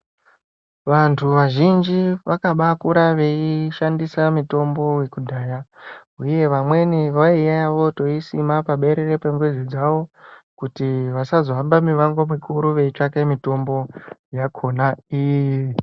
Vantu vazhinji vakabaikura vechishandise mitombo wekudhaya, uye vamweni vaiuya voisima paberere pengezi dzavo kuti vasazohamba mihambo mikuru veitsvake mitombo yakona iyi.